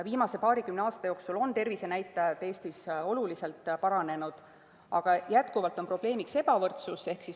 Viimase paarikümne aasta jooksul on tervisenäitajad Eestis oluliselt paranenud, aga jätkuvalt on probleemiks ebavõrdsus .